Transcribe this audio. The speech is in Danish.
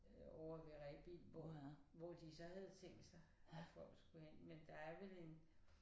Ovre ved Rebild hvor hvor de så havde tænkt sig at folk skulle hen men der er vel en